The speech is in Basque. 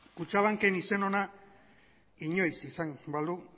kutxabanken izen ona inoiz izan balu